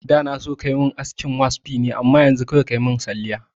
Da na so kayi min askin waspi ne amma yanzu kawai kayi min salliya